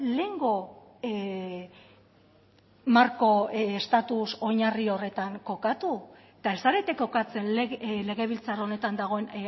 lehengo marko estatuz oinarri horretan kokatu eta ez zarete kokatzen legebiltzar honetan dagoen